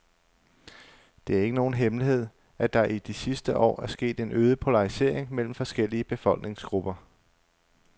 Det er ikke nogen hemmelighed, at der i de sidste år er sket en øget polarisering mellem forskellige befolkningsgrupper.